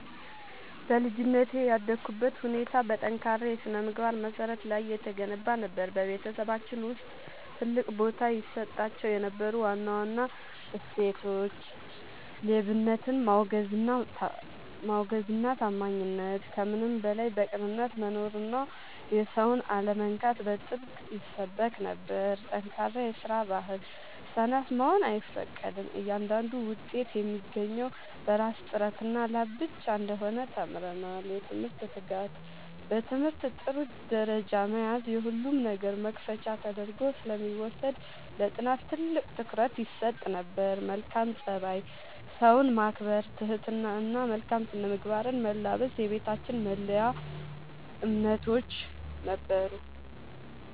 በልጅነቴ ያደግኩበት ሁኔታ በጠንካራ የሥነ-ምግባር መሠረት ላይ የተገነባ ነበር። በቤተሰባችን ውስጥ ትልቅ ቦታ ይሰጣቸው የነበሩ ዋና ዋና እሴቶች፦ ሌብነትን ማውገዝና ታማኝነት፦ ከምንም በላይ በቅንነት መኖርና የሰውን አለመንካት በጥብቅ ይሰበክ ነበር። ጠንካራ የስራ ባህል፦ ሰነፍ መሆን አይፈቀድም፤ እያንዳንዱ ውጤት የሚገኘው በራስ ጥረትና ላብ ብቻ እንደሆነ ተምረናል። የትምህርት ትጋት፦ በትምህርት ጥሩ ደረጃ መያዝ የሁሉም ነገር መክፈቻ ተደርጎ ስለሚወሰድ ለጥናት ትልቅ ትኩረት ይሰጥ ነበር። መልካም ፀባይ፦ ሰውን ማክበር፣ ትህትና እና መልካም ስነ-ምግባርን መላበስ የቤታችን መለያ እምነቶች ነበሩ።